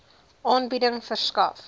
aanbieding verskaf